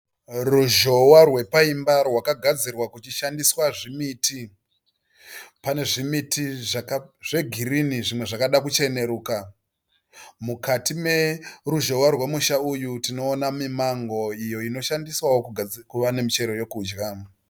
Ruzhowa rwepaimba rwakagadzirwa kuchishandiswa zvimiti. Pane zvimiti zvegirinhi nezvimwe zvakada kucheneruka. Mukati neruzhohwa urwemusha uyu tinoona mimango iyo inoshandiswawo kuva nemichero yekudya.